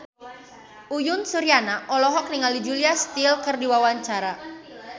Uyan Suryana olohok ningali Julia Stiles keur diwawancara